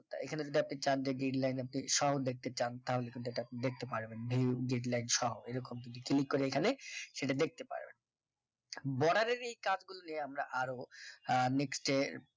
এখানে যদি আপনি চান যে guideline আপনি সহ দেখতে চান তাহলে কিন্তু এটা দেখতে পারবেন view guideline সহ এরকম যদি click করে এখানে সেটা দেখতে পারবেন border এর এই কাজগুল নিয়ে আমরা আরো আহ next day এ